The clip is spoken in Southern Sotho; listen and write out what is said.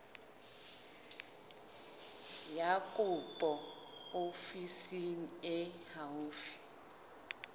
ya kopo ofising e haufi